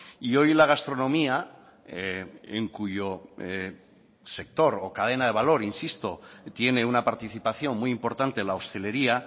y hoy la gastronomía en cuyo sector o cadena de valor insisto tiene una participación muy importante la hostelería